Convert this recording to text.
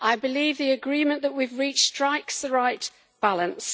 I believe the agreement that we have reached strikes the right balance.